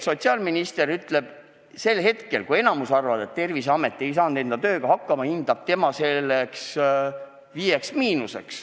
Sotsiaalminister ütleb praegu, kui enamik arvab, et Terviseamet ei ole oma tööga hakkama saanud, et tema annab nende tööle hindeks "5–".